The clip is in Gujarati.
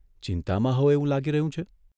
ચિંતામાં હો એવું લાગી રહ્યું છે.